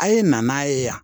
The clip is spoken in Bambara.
A ye na n'a ye yan